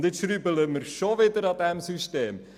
Und nun schrauben wir schon wieder an diesem System.